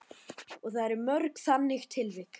Og það eru mörg þannig tilvik?